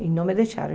E não me deixaram.